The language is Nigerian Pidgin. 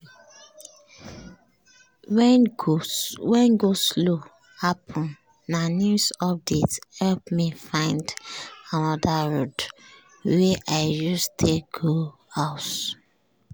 wen go-slow happen na news update help me find anoda road um wey i use take go um house.